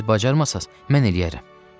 Siz bacarmasaz, mən eləyərəm.